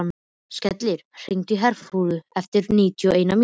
Skellir, hringdu í Herúlf eftir níutíu og eina mínútur.